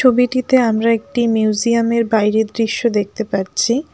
ছবিটিতে আমরা একটি মিউজিয়ামের বাইরের দৃশ্য দেখতে পাচ্ছি।